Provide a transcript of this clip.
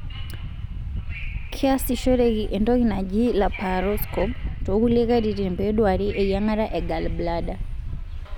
kiasishoreki entoki naaji laparoscope tokulie katitin peduari eyiangata e gallbaladder.